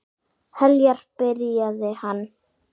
Heljar, byrjaði hann.